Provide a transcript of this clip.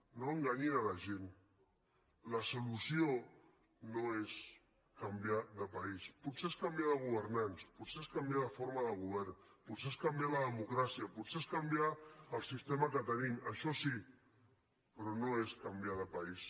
no enganyin la gent la solució no és canviar de país potser és canviar de governants potser és canviar de forma de govern potser és canviar la democràcia potser és canviar el sistema que tenim això sí però no és canviar de país